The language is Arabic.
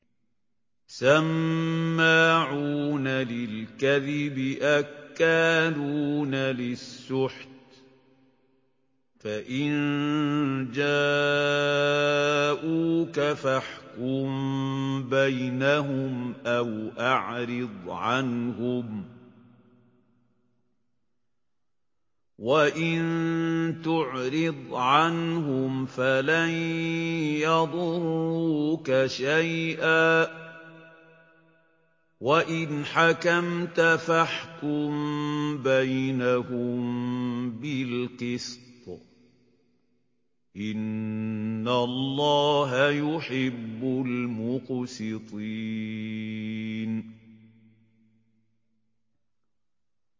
سَمَّاعُونَ لِلْكَذِبِ أَكَّالُونَ لِلسُّحْتِ ۚ فَإِن جَاءُوكَ فَاحْكُم بَيْنَهُمْ أَوْ أَعْرِضْ عَنْهُمْ ۖ وَإِن تُعْرِضْ عَنْهُمْ فَلَن يَضُرُّوكَ شَيْئًا ۖ وَإِنْ حَكَمْتَ فَاحْكُم بَيْنَهُم بِالْقِسْطِ ۚ إِنَّ اللَّهَ يُحِبُّ الْمُقْسِطِينَ